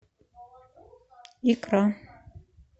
икра